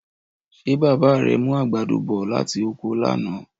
Ṣé bàbá rẹ mú àgbàdo bọ̀ láti oko lánàá?